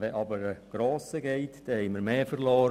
Wenn aber ein Grosser geht, dann haben wir mehr verloren.